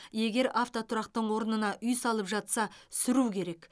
егер автотұрақтың орнына үй салып жатса сүру керек